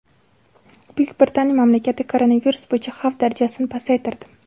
Buyuk Britaniya mamlakatda koronavirus bo‘yicha xavf darajasini pasaytirdi.